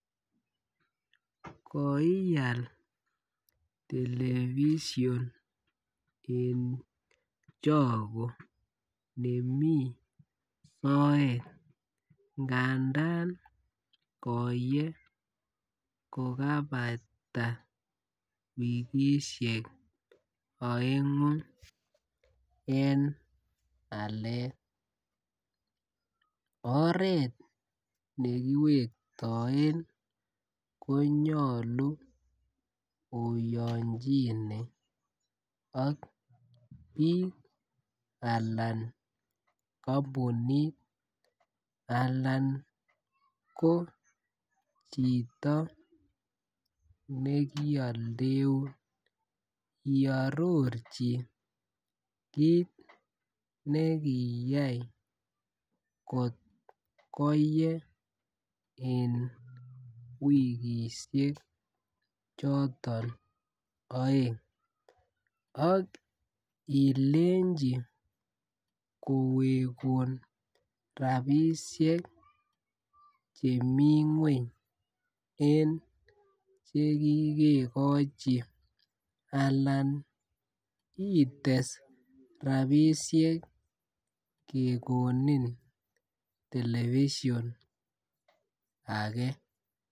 Koial television en choko nemiten soet ngandan koyee ko kaipata wikishek oengu en alet, oret nekiwektoen konyolu oyonchine ak bik Alan kompunit Alan ko chito nekioldeun iororchi kit nekiiyai kotkoye en wikishek choton oeng ak ilenji kowekun rabishek chemii ngweny en chekikekochi alan ites rabishek kekoni television.